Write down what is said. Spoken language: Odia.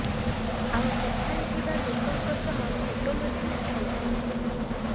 ଆଉ ସେଠାରେ ଥିବା ଲୋକଙ୍କ ସହ ଫଟୋ ମଧ୍ୟ ଉଠାଇଥିଲେ